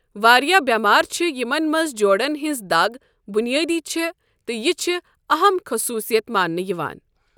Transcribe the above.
واریاہ بٮ۪مارِ چھےٚ یِمن منٛز جوڑن ہِنٛز دَگ بُنیٲدی چھےٚ، تہٕ یہِ چھےٚ اَہم خٔصوٗصِیت مانٛنہٕ یِوان۔